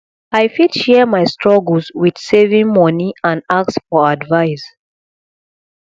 i fit share my struggles with saving money and ask for advice